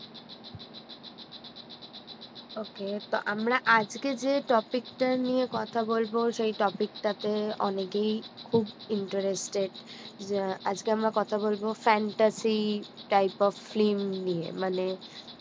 Okay তো আমরা আজকে যে topic টা নিয়ে কথা বলব সেই topic টাতে অনেকেই খুব interested যে আজকে আমরা কথা বলবো fantacy type of film নিয়ে মানে